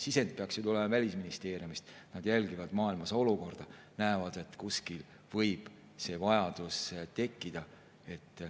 See sisend peaks ju tulema Välisministeeriumist, nad jälgivad olukorda maailmas, näevad, kui kuskil võib see vajadus tekkida.